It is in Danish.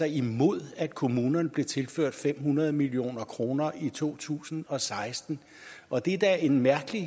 imod at kommunerne blev tilført fem hundrede million kroner i to tusind og seksten og det er da en mærkelig